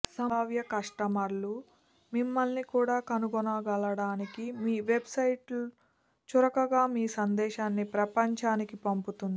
సంభావ్య కస్టమర్లు మిమ్మల్ని కూడా కనుగొనగలగడానికి మీ వెబ్సైట్ చురుకుగా మీ సందేశాన్ని ప్రపంచానికి పంపుతుంది